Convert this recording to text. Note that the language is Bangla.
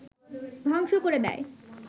ধ্বংস করে দেয়